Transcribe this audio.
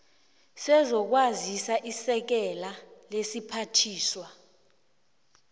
sezokwazisa isekela lesiphathiswa